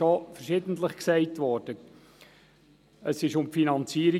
Es wurde bereits mehrfach erwähnt – es ging um die Finanzierung.